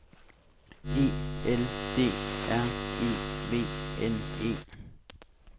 E L D R E V N E